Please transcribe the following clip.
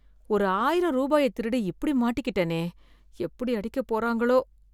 ஒரு ஆயிரம் ரூபாய திருடி இப்படி மாட்டிக்கிட்டனே, எப்படி அடிக்க போறாங்களோ?